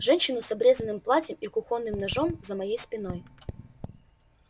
женщину с обрезанным платьем и кухонным ножом за моей спиной